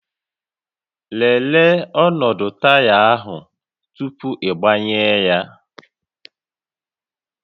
Lelee ọnọdụ taya ahụ tupu ịgbanye ya